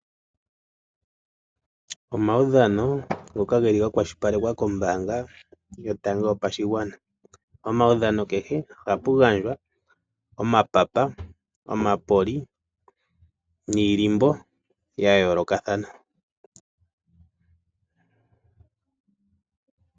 Omaudhano ngoka geli ga kwashilipalekwa kombaanga yotango yopashigwana. Omaudhano kehe ohapu gandjwa omapapa, omapoli niilimbo ya yoolokathana.